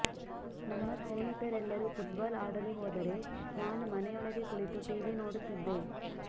ನನ್ನ ಸ್ನೇಹಿತರೆಲ್ಲರೂ ಫುಟ್ಬಾಲ್ ಆಡಲು ಹೋದರೆ ನಾನು ಮನೆಯೊಳಗೇ ಕುಳಿತು ಟೀವಿ ನೋಡುತ್ತಿದ್ದೆ